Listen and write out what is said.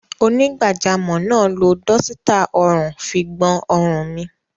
Onígbàjamọ̀ náà lo dọ́sítà ọrùn fi gbọn ọrùn mi.